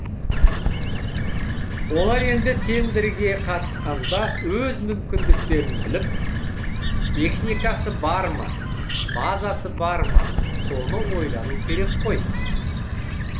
олар енді тендерге қатысқанда өз мүмкіндіктерін біліп техникасы бар ма базасы бар ма соны ойлану керек қой